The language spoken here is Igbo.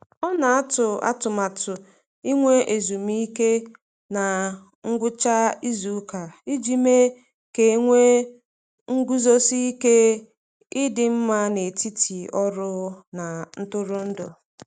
Ọ na-atụ atụmatụ inwe ezumike na ngwụcha izuụka iji mee ka a na-enwe nguzosi ike dị mma n'etiti ọrụ na ntụrụndụ.